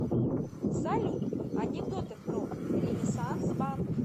салют анекдоты про ренессанс банк